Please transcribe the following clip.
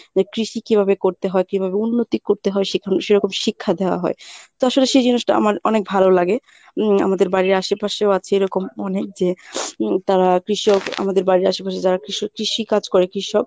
যে কৃষি কিভাবে করতে হয়, কিভাবে উন্নতি করতে হয় সেখা~সেরকম শিক্ষা দেয়া হয়। তো আসলে সেই জিনিসটা আমার অনেক ভালো লাগে উম আমাদের বাড়ির আশেপাশেও আছে এরকম অনেক যে উম তারা কৃষক আমাদের বাড়ির আশেপাশে যারা কৃষ~ কৃষি কাজ করে কৃষক